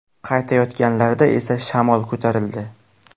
Qaytayotganlarida esa shamol ko‘tarildi.